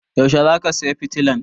Yaushe zaka saya fitilan?